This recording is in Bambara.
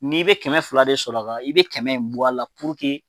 N'i be kɛmɛ fila de sɔrɔ a, i be kɛmɛ in bɔ a la